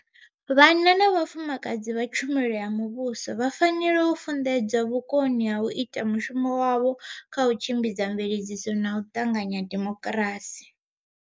Vhanna na vhafumakadzi vha tshumelo ya muvhuso vha fanela u funḓedzwa vhukoni ha u ita mushumo wavho kha u tshimbidza mveledziso na u ṱanganya demokirasi.